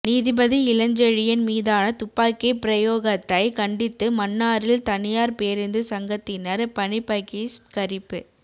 நீதிபதி இளஞ்செழியன் மீதான துப்பாக்கிப் பிரயோகத்தை கண்டித்து மன்னாரில் தனியார் பேரூந்து சங்கத்தினர் பணிப்பகிஸ்கரிப்பு